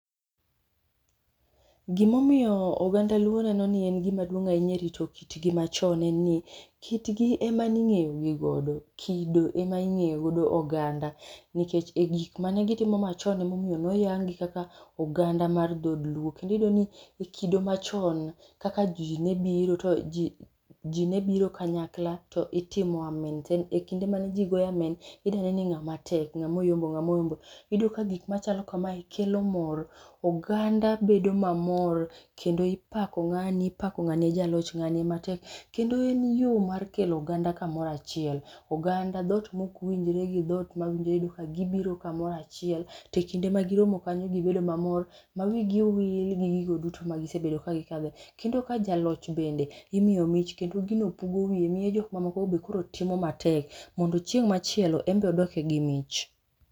gimomiyo oganda luo neno ni en gima duong' ahinya e rito kitgi machon en ni, kitgi ema ne ing'eyo gi godo, kido ema ing'eyo go oganda nikech e gik mane gitimo machon emomiyo noyang gi kaka oganda mar dhod luo kendi iyudo ni e kido machon, kaka ji ne biro to ji ji ne biro kanyakla to itimo amen e kinde mane ji goyo amen, ida ne ni ng'ama tek ng'amoyombo ng'amoyombo. Iyudo ka gik machalo kamae kelo mor, oganda bedo mamor kendo ipako ng'ani ipako ng'ani e jaloch, ng'ani ema tek kendo en yo mar kelo oganda kamora achiel. oganda dhot mok winjre gi dhot mawinjre iyudo ka gibiro kamoro achiel, to e kinde ma giromo kanyo gibedo maro ma wigi owil gi gigo duto ma gisebedo ka gikadhe kendo ka jaloch bende imiyo mich kendo gino pugo wiye miyo jok mamoko bende koro timo matek mondo chieng' machielo enbe odoke gi mich